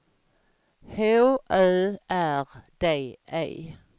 H Ö R D E